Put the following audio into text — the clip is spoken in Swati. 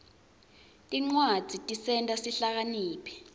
tincwadzi tisenta sihlakaniphe